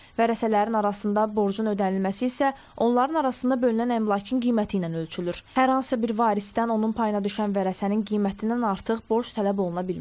Vərəsələrin arasında borcun ödənilməsi isə onların arasında bölünən əmlakın qiyməti ilə ölçülür, hər hansı bir varisdən onun payına düşən vərəsənin qiymətindən artıq borc tələb oluna bilməz.